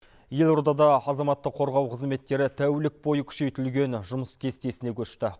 елордада азаматты қорғау қызметтері тәулік бойы күшейтілген жұмыс кестесіне көшті